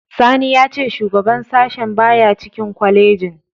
Sani ya ce shugaban sashen baya cikin kwalejin.